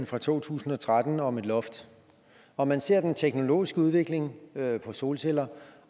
fra to tusind og tretten om et loft og man ser den teknologiske udvikling for solceller